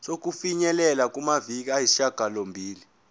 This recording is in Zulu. sokufinyelela kumaviki ayisishagalombili